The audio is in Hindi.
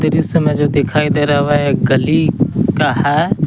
इस समय जो दिखाई दे रहा है गली का है।